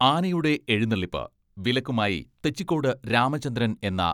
ആനയുടെ എഴുന്നള്ളിപ്പ് വിലക്കുമായി തെച്ചിക്കോട് രാമചന്ദ്രൻ എന്ന